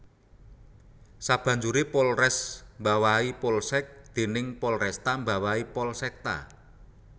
Sabanjuré Polres mbawahi Polsek dénég Polresta mbawahi Polsekta